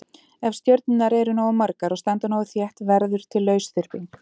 Ef stjörnurnar eru nógu margar og standa nógu þétt verður til lausþyrping.